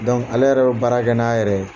ale yɛrɛ bɛ baara kɛ n'a yɛrɛ ye.